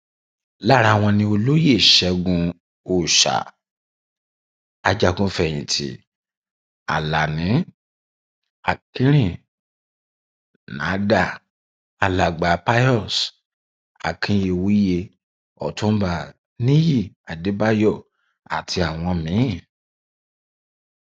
lára wọn ni olóyè ṣẹgun ọsà ajagunfẹyìntì alani akinrinádá alàgbà pius akiyewuye ọtúnba nìyí adébáyò àti àwọn míín